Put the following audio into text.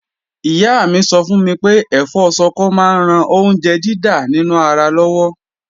Ìyá mi sọ fún mi pé ẹ̀fọ́ Ṣọkọ máa ń ran oúnjẹ dídà nínú ara lọ́wọ́